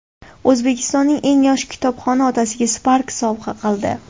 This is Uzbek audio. O‘zbekistonning eng yosh kitobxoni otasiga Spark sovg‘a qildi .